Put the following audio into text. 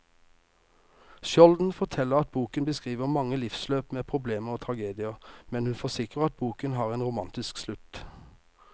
Skjolden forteller at boken beskriver mange livsløp med problemer og tragedier, men hun forsikrer at boken har en romantisk slutt.